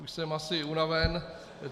Už jsem asi unaven.